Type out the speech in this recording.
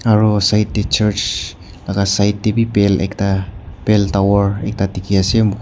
aru side church laga side pal tawar ekta dekhi ase.